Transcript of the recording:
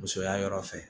Musoya yɔrɔ fɛ